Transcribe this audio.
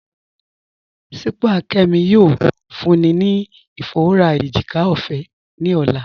Sípàá Kẹ́mí yóò fúnní ni ifọwọ́rà èjìkà ọfẹ́ ni ọlá.